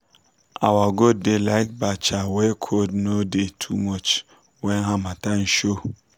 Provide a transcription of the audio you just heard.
our goat da like bacha wey cold no da too much when harmattan show